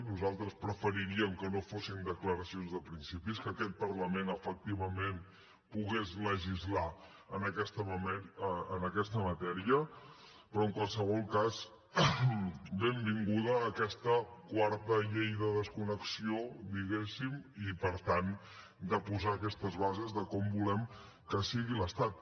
nosaltres preferiríem que no fossin declaracions de principis que aquest parlament efectivament pogués legislar en aquesta matèria però en qualsevol cas benvinguda aquesta quarta llei de desconnexió diguéssim i per tant de posar aquestes bases de com volem que sigui l’estat